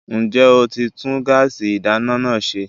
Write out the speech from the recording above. Ǹjẹ́ ẹ ti tún gáàsì ìdáná náà ṣe?